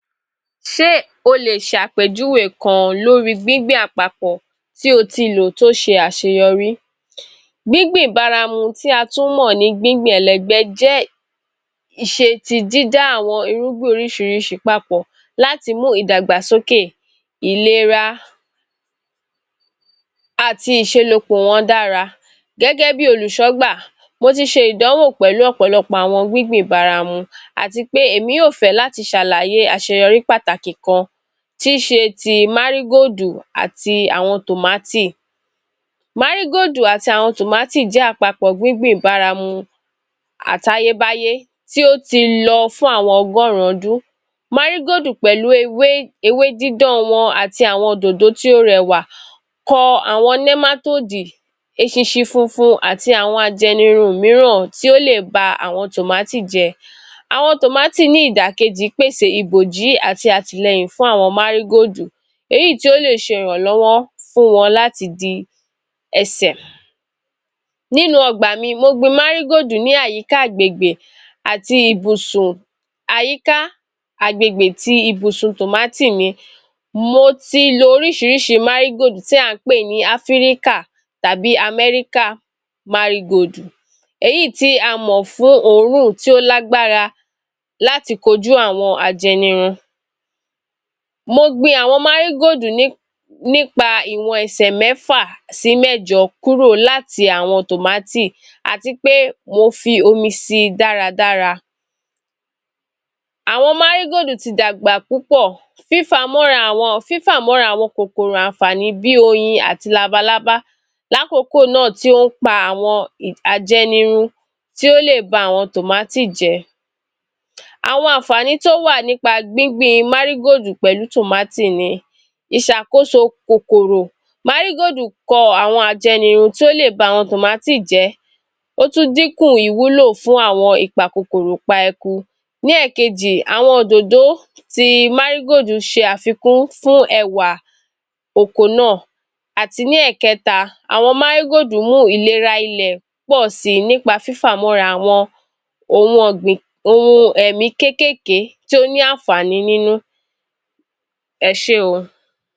Ṣé o lè ṣàpèjúwe kan lóri gbíngbìn àpapọ̀ tí o ti lò tí ó ṣe àṣeyọrí? Gbíngbìn baramu tí a tún mọ̀ ní gbíngbìn ẹlẹgbẹ́ jẹ́ ìṣe ti dídá àwọn irúgbìn oríṣiríṣi papọ̀ láti mú ìdàgbàsókè, ìlera àti? wọn dára. Gẹ́gẹ́ bí olùṣọ́gbà, mo ti ṣe ìdánwò pẹ̀lú ọ̀pọ̀lọpọ̀ àwọn gbíngbìn baramu àtipé èmi yóò fẹ́ láti ṣàlàye àṣeyọrí pàtàkì kan tíí ṣe ti Márígóòdù àti àwọn tòmátì. Márígóòdù àti àwọn tòmátì jẹ́ àpapọ̀ gbíngbìn baramu àtayébáyé tí ó ti lọ fún àwọn ọgọ́rùn-ún ọdún. Márígóòdù pẹ̀lú ewé dídán wọn àti àwọn òdòdò tó rẹwà kọ àwọn Nẹ́mátóòdù eṣinṣin funfun, àti àwọn ajẹnirun míràn tí ó lè ba àwọn tòmátì jẹ́. Àwọn tòmátì ní ìdàkejì pèse ìbòjí àti àtìlẹyìn fún àwọn Márígóòdù léyìí tí ó lè ṣe ìràlọ́wọ́ fún wọn láti di ẹsẹ̀. Nínú ọgbà mi, mo gbin Márígóòdù ní àyíká agbègbè ti ìbùsun tòmátì mi. Mo ti lo oríṣiríṣi Márígóòdù tí à ń pè ní Áfíríkà tàbí Amẹ́ríkà Márígóòdù èyí tí a mọ̀ fuń òórùn tí ó lágbára, láti kojú àwọn ajẹnirun. Mo gbin àwọn Márígóòdù nípa ìwọ̀n ẹsẹ̀ mẹ́fà sí mẹjọ kúrò láti àwọn tòmátì àtipé mo fi omi si dáradára. Àwọn Márígóòdù ti dàgbà púpọ̀, fífàmọ́rà àwọn kòkòrò ànfààní bí oyin àti labalábá láàkókò náà tí ó ń pa àwọn ajẹnirun tí ó lè ba àwọn tòmátì jẹ́. Àwọn àǹfààní tí ó wà nípa gbíngbin Márígóòdù pẹ̀lú tòmátì ni ìṣàkóso kòkòrò. Márígóòdù kọ àwọn ajẹnirun tí ó lè ba àwọn tòmátì jẹ́, ó tún dínkù ìwúlò fún àwọn ìpa-kòkòrò-pa-eku. Ní ẹ̀ẹ̀kejì, àwọn òdòdó ti Márígóòdù fún ẹwà oko náà. Àti ní ẹ̀ẹ̀kẹta àwọn Márígóòdù mú ìlera ilẹ̀ pọ̀si nípa fífàmọ́ra àwọn ohun ẹ̀mí kéékèèké tí ó ní àǹfààní nínú. Ẹṣé o.